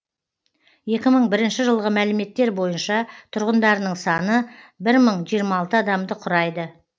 екі мың бірінші жылғы мәліметтер бойынша тұрғындарының саны бір мын жиырма алты адамды құрайды